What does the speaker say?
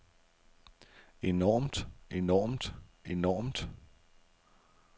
enormt enormt enormt